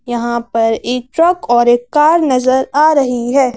यहां पर एक ट्रक और एक कार नजर आ रही है।